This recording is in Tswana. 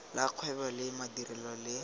la kgwebo le madirelo le